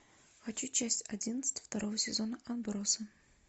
хочу часть одиннадцать второго сезона отбросы